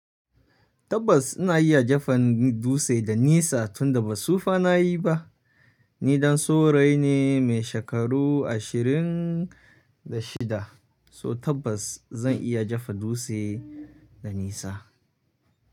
Tabbas ina iya jefa dutse da nisa tunda ba sufa na yi ba. Ni ɗan saurayi ne mai shekaru ashirin da shida, so tabbas zan iya jefa dutse da nisa.